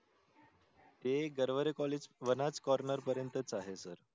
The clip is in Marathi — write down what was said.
ते गरवरे college वनाज corner पर्यंतच आहे सर.